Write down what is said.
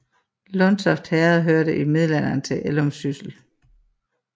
Lundtoft Herred hørte i middelalderen til Ellumsyssel